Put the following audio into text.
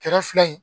Kɛrɛ fila in